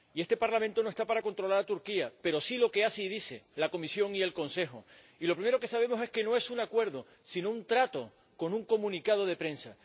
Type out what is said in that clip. Este Parlamento no está para controlar a Turquía, pero sí lo que hacen y dicen la Comisión y el Consejo, y lo primero que sabemos es que no es un acuerdo, sino un trato con un comunicado de prensa.